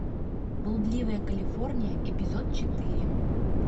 блудливая калифорния эпизод четыре